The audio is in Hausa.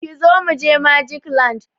Kizo mu je Magic land!